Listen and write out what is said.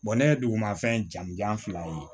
ne ye duguma fɛn jamu jan fila ye